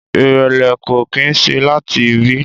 Ìrẹ̀lẹ̀ ko kín se lati ibi